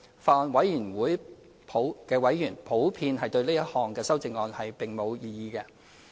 法案委員會委員普遍對這項修正案並無異議。